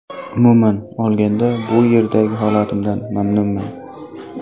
Umuman olganda, bu yerdagi holatimdan mamnunman.